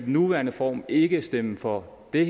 nuværende form ikke stemme for det